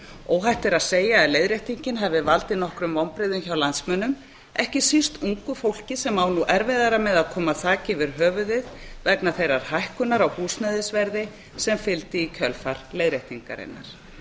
óhætt er að segja að leiðréttingin hafi valdið nokkrum vonbrigðum hjá landsmönnum ekki síst ungu fólki sem á nú erfiðara með að koma þaki yfir höfuðið vegna þeirrar hækkunar á húsnæðisverði sem fylgdi í kjölfar leiðréttingarinnar